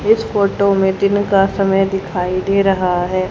इस फोटो में दिन का समय दिखाइ दे रहा है।